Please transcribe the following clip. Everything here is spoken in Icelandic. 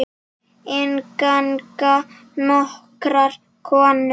Inn ganga nokkrar konur.